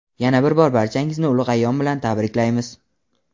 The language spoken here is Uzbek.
Yana bir bor barchangizni ulug‘ ayyom bilan tabriklaymiz!.